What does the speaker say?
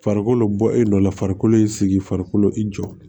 Farikolo bɔ e nɔ la farikolo ye sigi farikolo i jɔ